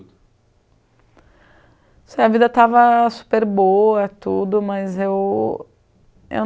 Se a vida estava super boa, tudo, mas eu eu